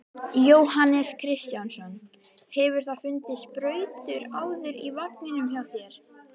Jóhannes Kristjánsson: Hefurðu fundið sprautur áður í vagninum hjá þér?